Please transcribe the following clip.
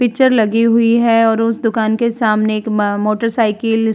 picture लगी हुई है और उस दुकान के सामने एक मा मोटर साइकिल --